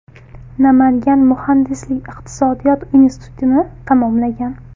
Namangan muhandislik-iqtisodiyot institutini tamomlagan.